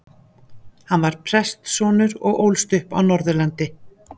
Hann var prestssonur og ólst upp á Norðurlandi.